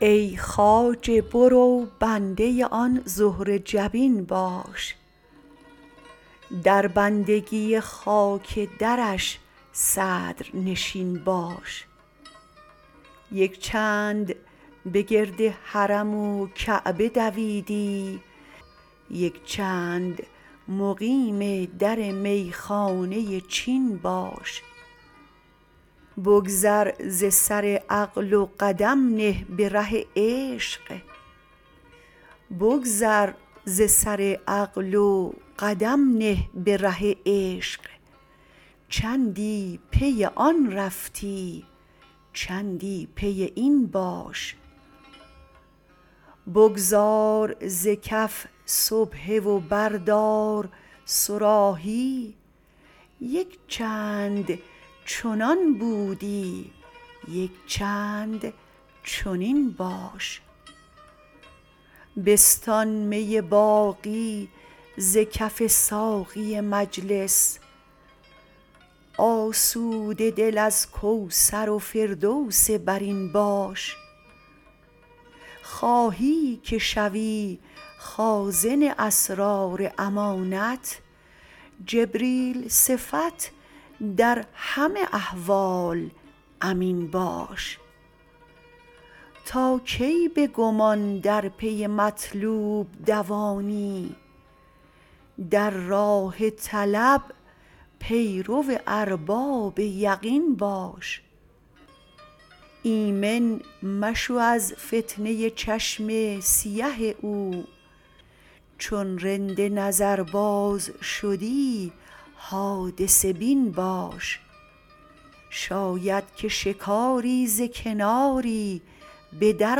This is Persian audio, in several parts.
ای خواجه برو بنده آن زهره جبین باش در بندگی خاک درش صدر نشین باش یک چند به گرد حرم و کعبه دویدی یک چند مقیم در می خانه چین باش بگذر ز سر عقل و قدم نه به ره عشق چندی پی آن رفتی چندی پی این باش بگذار ز کف سبحه و بردار صراحی یک چند چنان بودی یک چند چنین باش بستان می باقی ز کف ساقی مجلس آسوده دل از کوثر و فردوس برین باش خواهی که شوی خازن اسرار امانت جبریل صفت در همه احوال امین باش تا کی به گمان در پی مطلوب دوانی در راه طلب پیرو ارباب یقین باش ایمن مشو از فتنه چشم سیه او چون رند نظرباز شدی حادثه بین باش شاید که شکاری ز کناری به در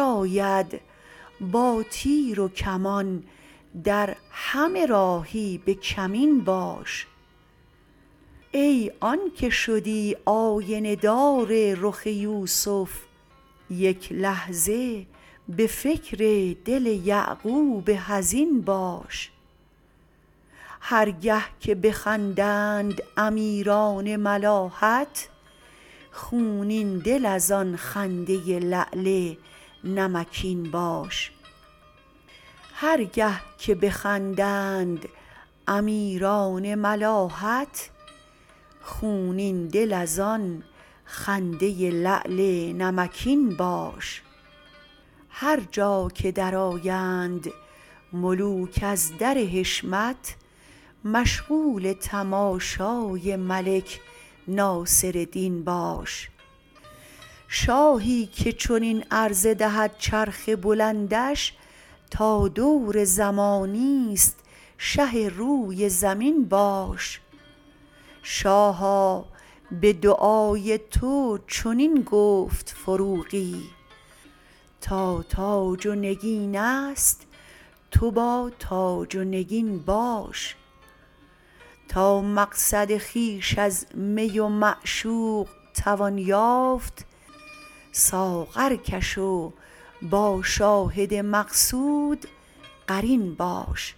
آید با تیر و کمان در همه راهی به کمین باش ای آن که شدی آینه دار رخ یوسف یک لحظه به فکر دل یعقوب حزین باش هرگه که بخندند امیران ملاحت خونین دل از آن خنده لعل نمکین باش هر جا که درآیند ملوک از در حشمت مشغول تماشای ملک ناصردین باش شاهی که چنین عرضه دهد چرخ بلندش تا دور زمانی است شه روی زمین باش شاها به دعای تو چنین گفت فروغی تا تاج و نگین است تو با تاج و نگین باش تا مقصد خویش از می و معشوق توان یافت ساغرکش و با شاهد مقصود قرین باش